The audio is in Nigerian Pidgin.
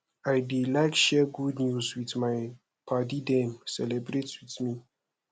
i dey like share good news make my paddy dem celebrate with me